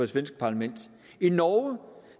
svenske parlament i norge